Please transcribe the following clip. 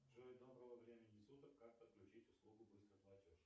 джой доброго времени суток как подключить услугу быстрый платеж